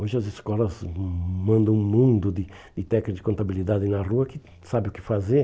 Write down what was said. Hoje as escolas mandam um mundo de de técnicas de contabilidade na rua que sabe o que fazer.